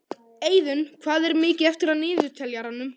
Eiðunn, hvað er mikið eftir af niðurteljaranum?